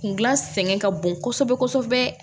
Kun gilan sɛgɛn ka bon kosɛbɛ kosɛbɛ